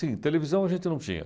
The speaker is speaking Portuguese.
Sim, televisão a gente não tinha.